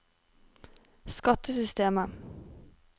skattesystemet